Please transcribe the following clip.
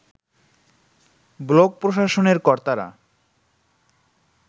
block প্রশাসনের কর্তারা